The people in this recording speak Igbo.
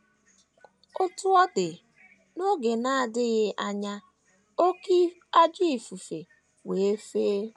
Otú ọ dị, n’oge na - adịghị anya, “ oké ajọ ifufe wee fee. ”